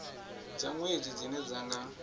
dza nwedzi dzine dza nga